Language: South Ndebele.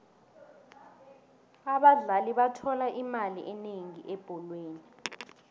abadlali bathola imali enengi ebholweni